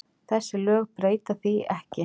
Þessi lög breyta því ekki.